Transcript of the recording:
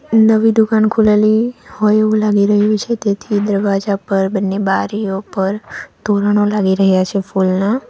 નવી દુકાન ખુલેલી હોય એવું લાગી રહ્યું છે તેથી દરવાજા પર બંને બારીઓ પર તોરનો લાગી રહ્યા છે ફુલના.